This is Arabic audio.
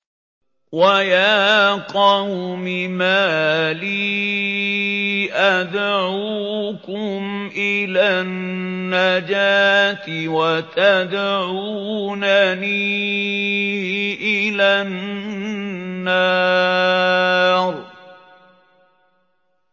۞ وَيَا قَوْمِ مَا لِي أَدْعُوكُمْ إِلَى النَّجَاةِ وَتَدْعُونَنِي إِلَى النَّارِ